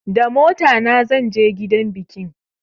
Da motana zan je gidan biki